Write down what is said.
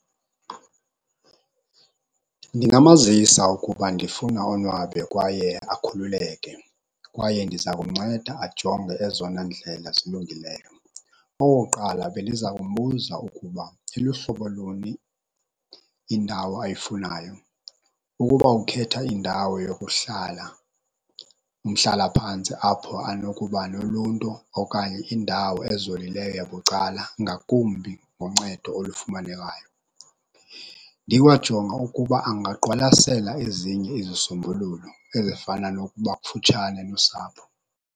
Ndingamazisa ukuba ndifuna onwabe kwaye akhululeke, kwaye ndiza kumnceda ajonge ezona ndlela zilungileyo. Okokuqala, bendiza kumbuza ukuba iluhlobo luni indawo ayifunayo. Ukuba ukhetha indawo yokuhlala umhlalaphantsi apho anokuba noluntu okanye indawo ezolileyo yabucala ngakumbi ngoncedo olufumanekayo. Ndikwajonga ukuba angaqwalasela ezinye izisombululo ezifana nokuba kufutshane nosapho.